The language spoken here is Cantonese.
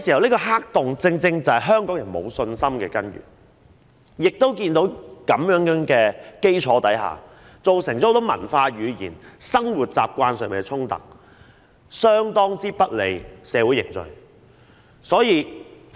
這個黑洞往往正是香港人沒有信心的根源，在這基礎下，亦造成很多文化、語言、生活習慣上的衝突，相當不利社會的凝聚。